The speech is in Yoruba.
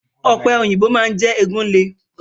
Ọ̀pẹ̀ òyìnbò máa ń jẹ́ egun le.